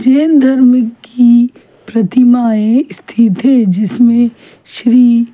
जैन धर्म की प्रतिमायें स्थित है जिसमे श्री --